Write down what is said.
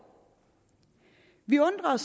vi undrer